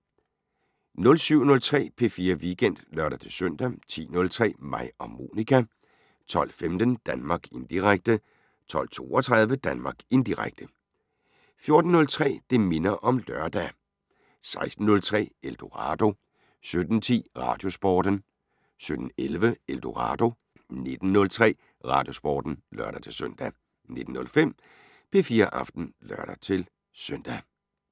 07:03: P4 Weekend (lør-søn) 10:03: Mig og Monica 12:15: Danmark Indirekte 12:32: Danmark Indirekte 14:03: Det minder om lørdag 16:03: Eldorado 17:10: Radiosporten 17:11: Eldorado 19:03: Radiosporten (lør-søn) 19:05: P4 Aften (lør-søn)